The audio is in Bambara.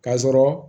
K'a sɔrɔ